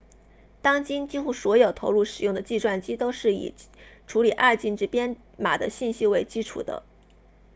当今几乎所有投入使用的计算机都是以处理二进制编码的信息为基础的